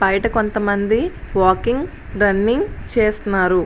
బయట కొంతమంది walking running చేస్తున్నారు.